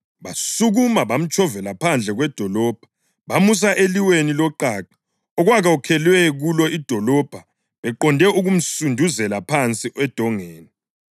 Basukuma, bamtshovela phandle kwedolobho bamusa eliweni loqaqa okwakwakhelwe kulo idolobho beqonde ukumsunduzela phansi edongeni.